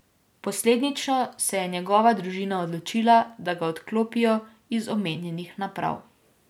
Posledično se je njegova družina odločila, da ga odklopijo iz omenjenih naprav.